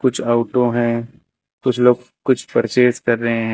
कुछ ऑटो हैं कुछ लोग कुछ परचेस कर रहे हैं।